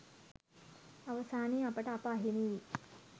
අවසානයේ අපට අප අහිමි වී